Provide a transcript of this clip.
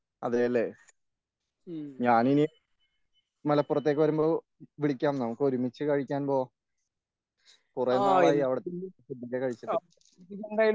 അതല്ലേ ഞാനിനി മലപ്പുറത്തേക്ക് വരുമ്പോൾ വിളിക്കാം നമുക്കൊരുമിച്ച് കഴിക്കാൻ പോകാം കുറെ നാളായി അവിടുത്തെ ഫുഡൊക്കെ കഴിച്ചിട്ട്